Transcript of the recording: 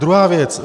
Druhá věc.